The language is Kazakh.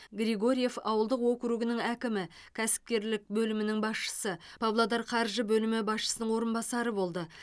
григорьев ауылдық округінің әкімі кәсіпкерлік бөлімінің басшысы павлодар қаржы бөлімі басшысының орынбасары болды